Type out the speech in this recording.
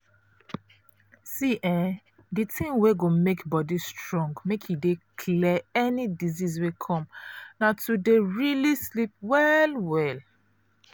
see [um][um]di thing wey go make body strong make e dey clear any disease wey come na to dey um sleep well well.